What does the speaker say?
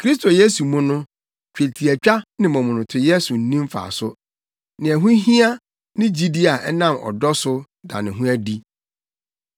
Kristo Yesu mu no, twetiatwa ne momonotoyɛ so nni mfaso. Nea ɛho hia ne gyidi a ɛnam ɔdɔ so da ne ho adi.